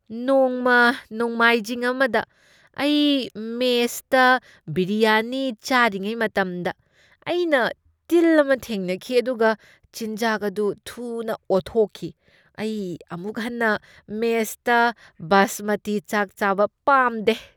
ꯅꯣꯡꯃ ꯅꯣꯡꯃꯥꯏꯖꯤꯡ ꯑꯃꯗ ꯑꯩ ꯃꯦꯁꯇ ꯕꯤꯔꯤꯌꯥꯅꯤ ꯆꯥꯔꯤꯉꯩ ꯃꯇꯝꯗ, ꯑꯩꯅ ꯇꯤꯜ ꯑꯃ ꯊꯦꯡꯅꯈꯤ ꯑꯗꯨꯒ ꯆꯤꯟꯖꯥꯛ ꯑꯗꯨ ꯊꯨꯅ ꯑꯣꯊꯣꯛꯈꯤ꯫ ꯑꯩ ꯑꯃꯨꯛ ꯍꯟꯅ ꯃꯦꯁꯇ ꯕꯥꯁꯃꯇꯤ ꯆꯥꯛ ꯆꯥꯕ ꯄꯥꯝꯗꯦ꯫